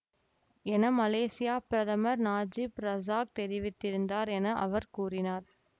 என மலேசியப் பிரதமர் நஜீப் ரசாக் தெரிவித்தார் என அவர் கூறினார்